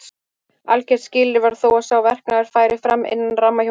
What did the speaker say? Algert skilyrði var þó að sá verknaður færi fram innan ramma hjónabandsins.